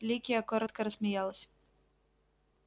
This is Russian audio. ликия коротко рассмеялась